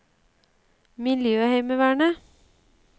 miljøheimevernet